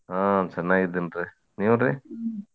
ಆ ಚೆನ್ನಾಗಿದ್ದಿನ್ರಿ ನೀವ್ರಿ?